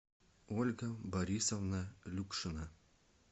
ольга борисовна люкшина